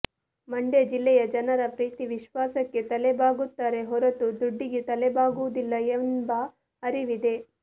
ಮಂಡ್ಯ ಜಿಲ್ಲೆಯ ಜನರ ಪ್ರೀತಿ ವಿಶ್ವಾಸಕ್ಕೆ ತಲೆಬಾಗುತ್ತಾರೆ ಹೊರತು ದುಡ್ಡಿಗೆ ತಲೆಬಾಗುವುದಿಲ್ಲ ಎಂಬ ಅರಿವಿದೆ